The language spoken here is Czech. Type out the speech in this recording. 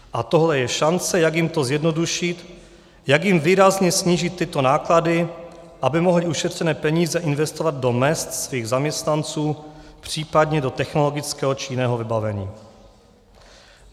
A tohle je šance, jak jim to zjednodušit, jak jim výrazně snížit tyto náklady, aby mohli ušetřené peníze investovat do mezd svých zaměstnanců, případně do technologického či jiného vybavení.